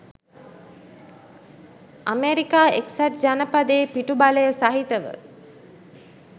America එක්සත් ජනපදයේ පිටුබලය සහිතව